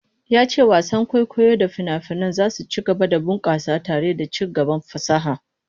Ya ce wasan kwaikwayo da fina-finai za su ci gaba da bunkasa tare da ci gaban fasaha.